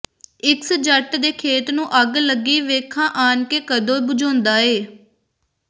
x ਜੱਟ ਦੇ ਖੇਤ ਨੂੰ ਅੱਗ ਲੱਗੀ ਵੇਖਾਂ ਆਨ ਕੇ ਕਦੋਂ ਬੁਝਾਉਂਦਾ ਈ